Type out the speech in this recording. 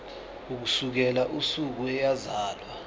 ukusukela usuku eyazalwa